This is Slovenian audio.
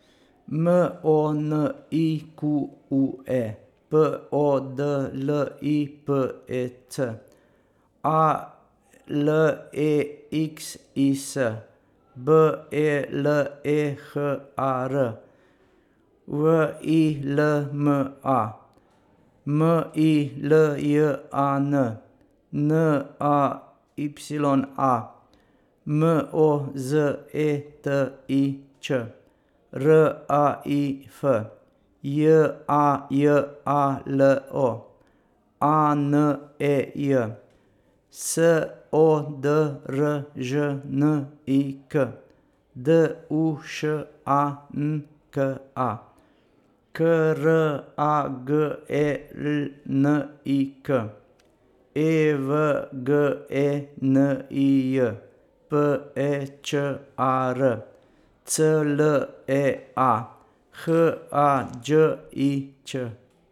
M O N I Q U E, P O D L I P E C; A L E X I S, B E L E H A R; W I L M A, M I L J A N; N A Y A, M O Z E T I Č; R A I F, J A J A L O; A N E J, S O D R Ž N I K; D U Š A N K A, K R A G E L N I K; E V G E N I J, P E Č A R; C L E A, H A Đ I Ć.